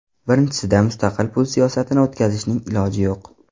Birinchisida mustaqil pul siyosatini o‘tkazishning iloji yo‘q.